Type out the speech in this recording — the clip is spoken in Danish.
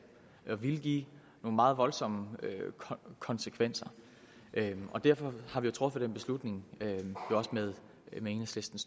og ville give nogle meget voldsomme konsekvenser derfor har vi truffet den beslutning med enhedslistens